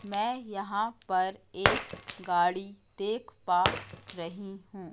मैं यहां पर एक गाड़ी देख पा रही हूं।